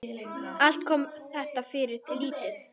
Allt kom þetta fyrir lítið.